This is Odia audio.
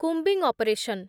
combing operation